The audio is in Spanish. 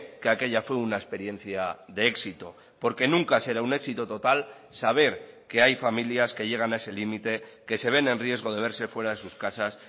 que aquella fue una experiencia de éxito porque nunca será un éxito total saber que hay familias que llegan a ese límite que se ven en riesgo de verse fuera de sus casas